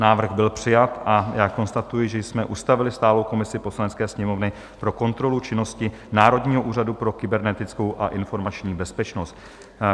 Návrh byl přijat a já konstatuji, že jsme ustavili stálou komisi Poslanecké sněmovny pro kontrolu činnosti Národního úřadu pro kybernetickou a informační bezpečnost.